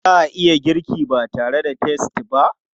Za a iya girki ba tare da peas ba?